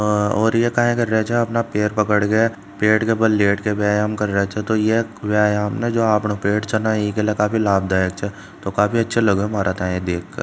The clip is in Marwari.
अ और या काया कर रहे छह जहां अपना पैर पकड़ के पेट के बल लेट के व्यायाम कर रहे छ तो ये व्यायाम जो आपणो पेट छह इक लिए काफी लाबदयक छ तो काफी अछो लाग्यो मारे देख के--